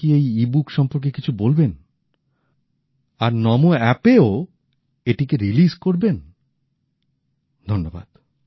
আপনি কি এই ই বুক সম্পর্কে কিছু বলবেন আর নমো অ্যাপের ও এটিকে প্রকাশ করবেন ধন্যবাদ